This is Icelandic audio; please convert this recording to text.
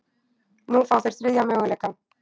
Nú fá þeir þriðja möguleikann